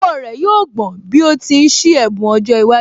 Ọwọ́ rẹ̀ yóò gbọ̀n bí ó ti ń ṣí ẹ̀bùn ọjọ́ iwájú